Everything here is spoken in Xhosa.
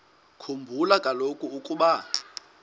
khumbula kaloku ukuba